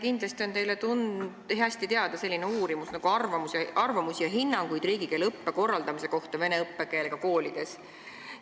Kindlasti on teile hästi teada selline uuring nagu "Arvamusi ja hinnanguid riigikeeleõppe korraldamise kohta vene õppekeelega koolides".